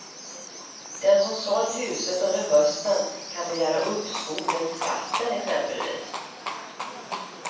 Den som sålt huset under hösten kan begära uppskov med skatten exempelvis.